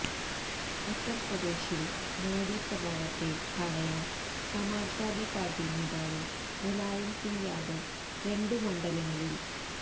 ഉത്തര്പ്രദേശില് മോഡി പ്രഭാവത്തെ തടയാന് സമാജ് വാദി പാര്ട്ടി നേതാവ് മുലായംസിങ്ങ് യാദവ് രണ്ടു മണ്ഡലങ്ങളില്